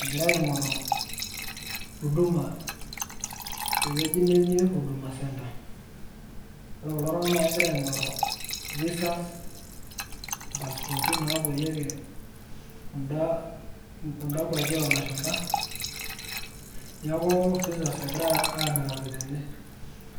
egira aing'oru huduma ,te wueji naji huduma center, egira iltunganak aiing'oru visas naapuoyieki inkwapi oo lashumpa neeku visas egirae aing'oru tene.